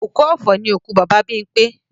Òkú ọ̀fọ̀ ni òkú Bàbá Bímpé